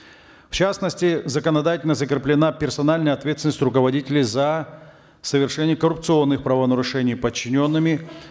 в частности законодательно закреплена персональная ответственность руководителей за совершение коррупционных правонарушений подчиненными